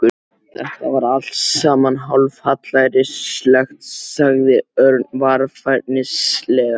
Þetta var allt saman hálfhallærislegt sagði Örn varfærnislega.